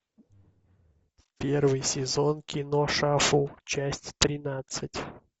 первый сезон кино шафл часть тринадцать